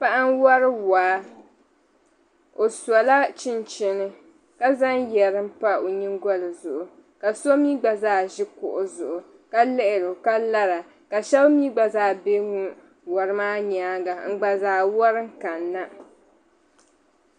Paɣa n-wari waa o sɔla chinchini ka zaŋ yari m-pa o nyingɔli zuɣu ka so mi gba zaa ʒi kuɣu zuɣu ka lihiri o ka lara ka shɛb' mi gba zaa be wari maa nyaanga n-gba zaa wari kanna.